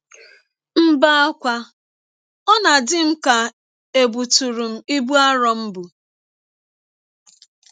M bee ákwá, ọ na - adị m ka è bụtụrụ m ibụ arọ m bụ.